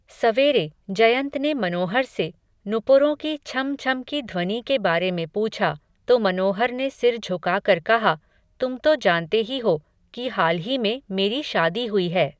सवेरे, जयंत ने मनोहर से, नूपुरों की छम छम की ध्वनि के बारे में पूछा, तो मनोहर ने सिर झुकाकर कहा, तुम तो जानते ही हो, कि हाल ही में मेरी शादी हुई है